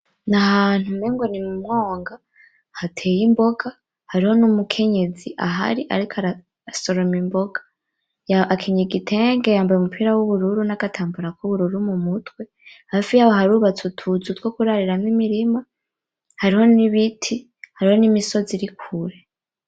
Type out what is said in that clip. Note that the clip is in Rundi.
N’ahantu umenga ni mu mwonga, hatey’imboga hariho n’umukenyezi ahari ariko arasoroma imboga, akenyeye igitenge yambaye n’umupira w’ubururu n’agatambara k’ubururu mu mutwe. Hafi yaho harubatse utuzu two kurariramwo imirima, hariho n’ibiti, n’imisozi iri kure.